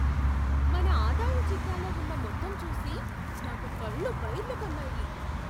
మన ఆదాయ చిట్టాలో ఉన్న మొత్తం చూసి నాకు కళ్ళు బైర్లు కమ్మాయి.